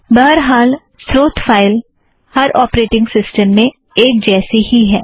बहरहाल स्रोत फ़ाइल हर ऑपरेटिंग सिस्टम में एक जैसा ही है